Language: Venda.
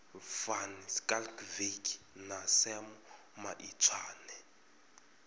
van schalkwyk na sam maitswane